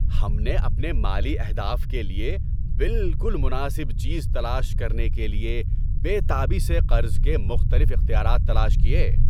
ہم نے اپنے مالی اہداف کے لیے بالکل مناسب چیز تلاش کرنے کے لیے بے تابی سے قرض کے مختلف اختیارات تلاش کیے۔